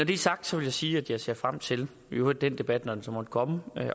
det er sagt vil jeg sige at jeg ser frem til i øvrigt den debat når den måtte komme